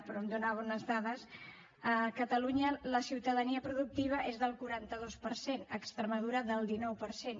però em donava unes dades a catalunya la ciutadania productiva és del quaranta dos per cent a extremadura del dinou per cent